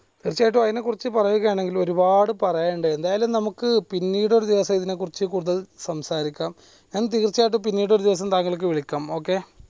തീർച്ചയായിട്ടും അയിനെ ക്കുറിച്ച് പറയുകയാണെങ്കിൽ ഒരുപാട് പറയാനുണ്ട് എന്തായാലും നമുക്ക് പിന്നീട് ഒരു ദിവസം ഇതിനെക്കുറിച്ച് കൂടുതൽ സംസാരിക്കാം ഞാൻ തീർച്ചയായും പിന്നീട് ഒരു ദിവസം താങ്കൾക്ക് വിളിക്കാം okay